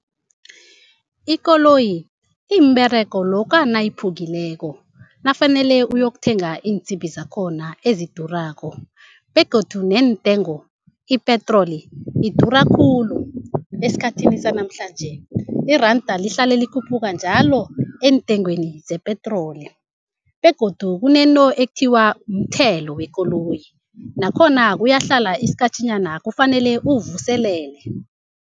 Ikoloyi imberego lokha nayiphukileko nafanele uyokuthenga iinsimbi zakhona ezidurako. Begodu neentengo ipetroli idura khulu, esikhathini sanamhlanje. Iranda lihlala likhuphuka njalo entengweni zepetroli. Begodu kunento ekuthiwa mthelo wekoloyi nakhona kuyahlala isikhatjhanyana kufanele uwuvuselele.